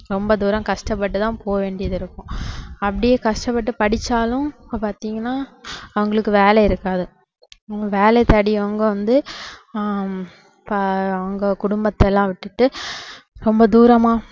ரொம்ப தூரம் கஷ்டப்பட்டுதான் போக வேண்டியதிருக்கும் அப்படியே கஷ்டப்பட்டு படிச்சாலும் இப்போ பாத்தீங்கன்னா அவங்களுக்கு வேலை இருக்காது வேலை தேடி அவங்க வந்து ஆஹ் இப்போ அங்க குடும்பத்தை எல்லாம் விட்டுட்டு ரொம்ப தூரமா